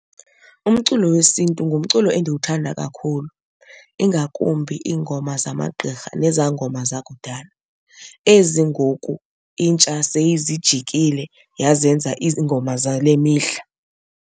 Umculo wesiNtu ngumculo endiwuthanda kakhulu ingakumbi iingoma zamagqirha nezaa ngoma zakudala, ezi ngoku intsha seyizijikile yazenza iingoma zale mihla.